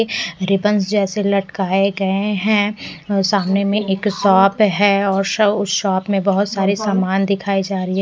Ribbons जैसे लटकाए गए हैं सामने में एक शॉप है और उस शॉप में बहुत सारे सामान दिखाई जा रही है।